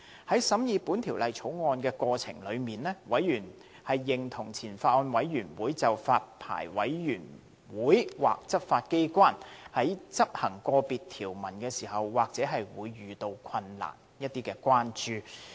在審議《條例草案》過程中，委員認同前法案委員會就發牌委員會或執法機關在執行個別條文時或會遇到困難的關注。